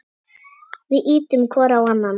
Við ýtum hvor á annan.